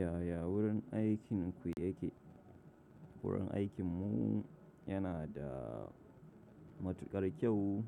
Yaya wurin aikin ku yake? Wurin aikinmu yana da matukar kyau.